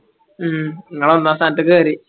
ഉം ഇങ്ങള് ഒന്നാം സ്ഥാനത്തേക്ക് കയറി